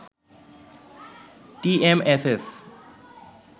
TMSS